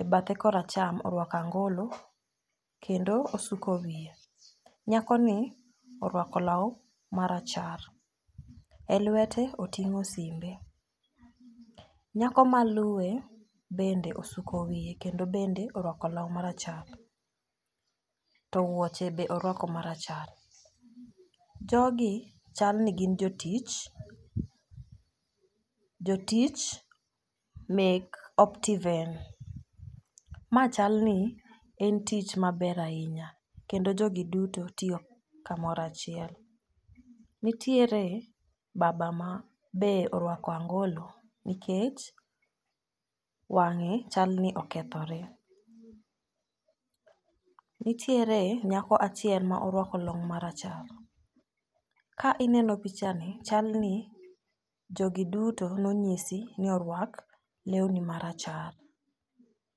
e bathe koracham orwako angolo kendo osuko wiye. Nyako ni orwako law marachar elwete oting'o simbe nyako maluwe bende osuko wiye kendo bende orwako law marachar to wuoche be orwako marachar. Jogi chal ni gin jotich , jotich mek optiven. Ma chal ni tich maber ahinya kendo jogi duto tiyo kamora chiel. Nitiere baba ma be orwako angolo nikech wang'e chal ni okethore. Nitiere nyako achiel ma orwako long marachar ka ineno picha ni chal ni jogi duto nonyisi ni orwak lewni marachar.